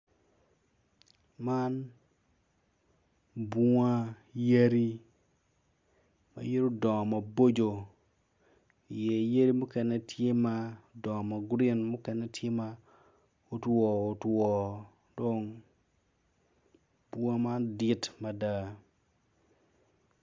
Man bunga yadi ma itgi odong maboco, i ye tye yadi mukene ma odongo magurin mukene tye ma otwo otwo dong bunga man dit mada.